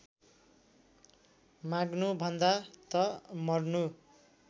माग्नुभन्दा त मर्नु